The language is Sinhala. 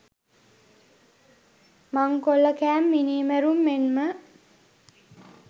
මංකොල්ලකෑම් මිනීමැරීම් මෙන්ම